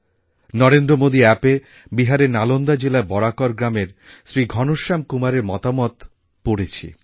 নরেন্দ্রমোদী অ্যাপএ বিহারের নালন্দা জেলার বরাকর গ্রামের শ্রী ঘণশ্যাম কুমারএর মতামত পড়েছি